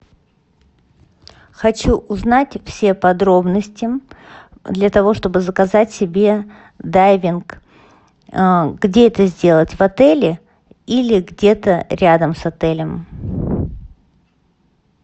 хочу узнать все подробности для того чтобы заказать себе дайвинг где это сделать в отеле или где то рядом с отелем